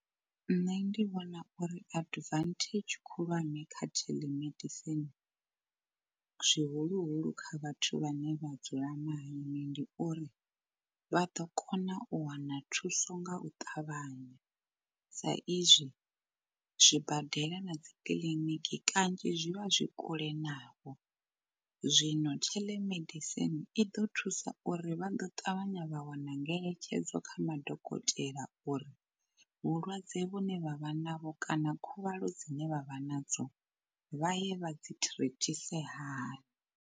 Nṋe ndi vhona uri advantage khulwane kha telemedicine zwihuluhulu kha vhathu vhane vha dzula mahayani ndi uri vha ḓo kona u wana thuso nga u ṱavhanya, sa izwi zwibadela na dzikiḽiniki kanzhi zwi vha zwi kule navho. Zwino telemedicine i ḓo thusa uri vha ḓo ṱavhanya vha wana ngeletshedzo kha madokotela uri vhulwadze vhu ne vha vha navho kana khuvhalo dzine vha vha nadzo vha ye vha dzi thirithise hani.